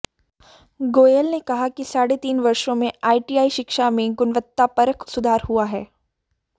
गोयल ने कहा कि साढ़े तीन वर्षों में आईटीआई शिक्षा में गुणवत्तापरक सुधार हुआ है